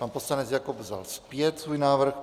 Pan poslanec Jakob vzal zpět svůj návrh.